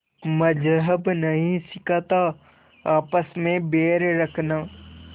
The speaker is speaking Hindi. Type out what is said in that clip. मज़्हब नहीं सिखाता आपस में बैर रखना